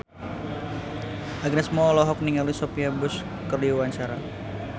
Agnes Mo olohok ningali Sophia Bush keur diwawancara